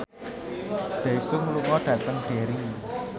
Daesung lunga dhateng Derry